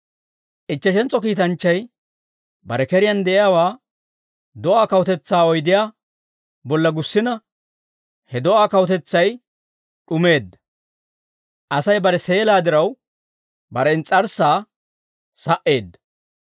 Ichcheshentso kiitanchchay bare keriyaan de'iyaawaa do'aa kawutetsaa oydiyaa bolla gussina, he do'aa kawutetsay d'umeedda. Asay bare seelaa diraw, bare ins's'arssaa sa"eedda.